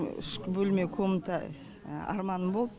үш бөлме комната арманым болды